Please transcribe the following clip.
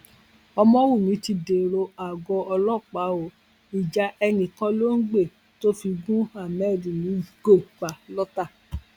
ọmọwùmí ti dèrò àgọ ọlọpàá o ìjà ẹnìkan ló ń gbé tó fi gun ahmed nígò pa lọtà